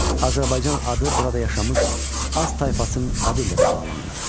Azərbaycan adı burada yaşamış az tayfasının adı ilə də bağlanılır.